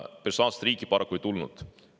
Personaalset riiki paraku ei ole tulnud.